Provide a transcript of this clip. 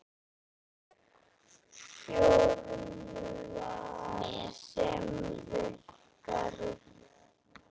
Formúla sem virkar.